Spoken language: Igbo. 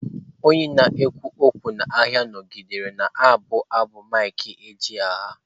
Onye na-ekwu okwu n'ahịa nọgidere na-abụ abụ mike ejegha.